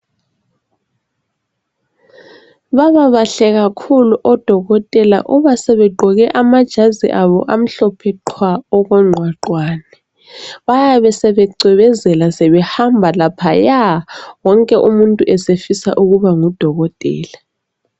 Baba bahle kakhulu odokotela. Uba sebegqoke amajazi abo amhlophe qhwa okongqwaqwane. Bayabe sebecwebezela, sebehamba laphaya! Wonke umuntu esefisa ukuba ngudokotela.